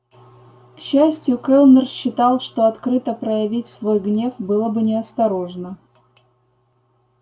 к счастью кэллнер считал что открыто проявить свой гнев было бы неосторожно